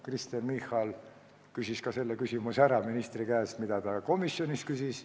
Kristen Michal küsis ka komisjonis ministri käest selle küsimuse, mida ta siin küsis.